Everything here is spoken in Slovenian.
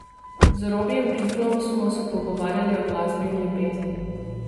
Z Robijem Piklom smo se pogovarjali o glasbi in ljubezni.